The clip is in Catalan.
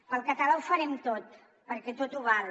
pel català ho farem tot perquè tot ho val